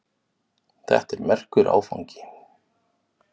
Þetta er merkur áfangi.